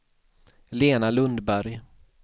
Lena Lundberg